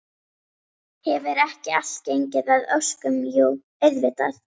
Hefur ekki allt gengið að óskum, jú auðvitað.